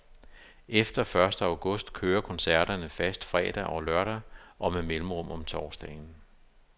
Efter første august kører koncerterne fast fredag og lørdag og med mellemrum om torsdagen.